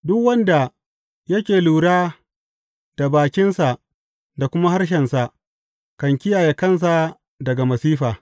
Duk wanda yake lura da bakinsa da kuma harshensa kan kiyaye kansa daga masifa.